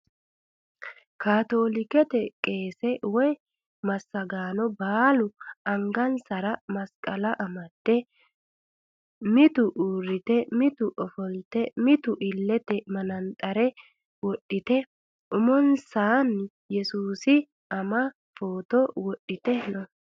Kaatoolikete qeese woyi massagaano baalu angansara masqala amdde mitu uurrite mitu ofolte mitu illete manaxxire wodhite umonsaanni yesuusi ama footo wodhite no.